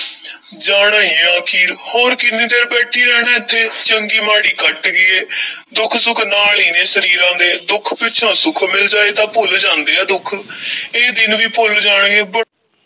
ਜਾਣਾ ਹੀ ਹੈ ਆਖ਼ਰ, ਹੋਰ ਕਿੰਨੀ ਦੇਰ ਬੈਠੇ ਰਹਿਣਾ ਏਥੇ, ਚੰਗੀ-ਮਾੜੀ ਕੱਟ ਗਈ ਏ ਦੁੱਖ-ਸੁੱਖ ਨਾਲ ਈ ਨੇ, ਸਰੀਰਾਂ ਦੇ ਦੁੱਖ ਪਿੱਛੋਂ ਸੁੱਖ ਮਿਲ ਜਾਏ ਤਾਂ ਭੁੱਲ ਜਾਂਦੇ ਐ ਦੁੱਖ ਇਹ ਦਿਨ ਵੀ ਭੁੱਲ ਜਾਣਗੇ ਬ~